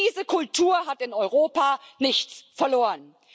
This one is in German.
Diese Kultur hat in Europa nichts verloren.